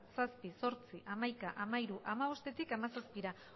zazpi zortzi hamaika hamairu hamabostetik hamazazpira